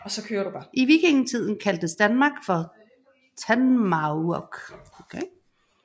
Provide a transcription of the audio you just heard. I vikingetiden kaldtes Danmark for Tanmaurk